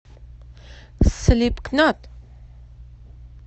слипкнот